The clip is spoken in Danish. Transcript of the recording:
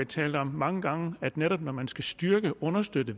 talt om mange gange at netop når man skal styrke og understøtte